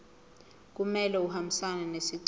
kumele ahambisane nesicelo